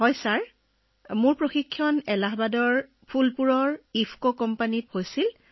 হয় ছাৰ আমাৰ প্ৰশিক্ষণ এলাহাবাদস্থিত ফুলপুৰ ইফকো কোম্পানীত হৈছিল